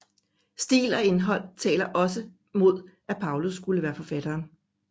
Stil og indhold taler også mod at Paulus skulle være forfatteren